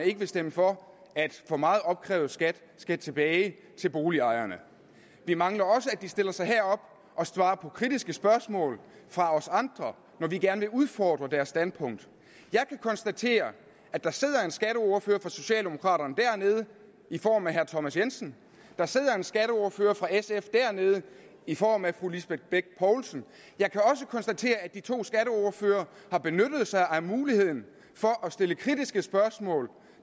ikke vil stemme for at for meget opkrævet skat skal tilbage til boligejerne vi mangler også at de stiller sig herop og svarer på kritiske spørgsmål fra os andre når vi gerne vil udfordre deres standpunkt jeg kan konstatere at der sidder en skatteordfører for socialdemokraterne dernede i form af herre thomas jensen der sidder en skatteordfører for sf dernede i form af fru lisbeth bech poulsen jeg kan også konstatere at de to skatteordførere har benyttet sig af muligheden for at stille kritiske spørgsmål